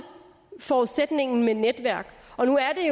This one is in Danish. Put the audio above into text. forudsætningen med netværk nu er